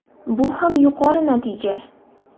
Bu ham yuqori natija.